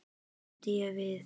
bætti ég við.